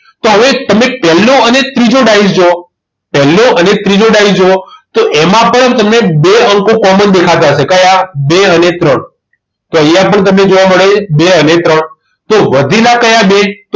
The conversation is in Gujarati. તો હવે તમે પહેલો અને ત્રીજો ડાયસ જોવો પહેલો અને ત્રીજો ડાયસ જોવો તો એમાં પણ તમને બે અંકો common દેખાતા હશે કયા બે અને ત્રણ તો અહીંયા પણ તમને જોવા મળે છે બે અને ત્રણ તો વધેલા કયા બે